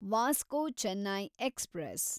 Vasco Chennai express